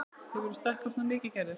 Hefurðu stækkað svona mikið, Gerður?